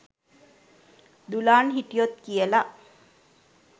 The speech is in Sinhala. දුලාන් හිටියොත් කියලා.